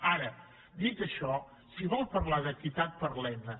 ara dit això si vol parlar d’equitat parlem ne